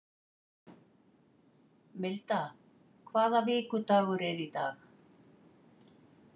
Milda, hvaða vikudagur er í dag?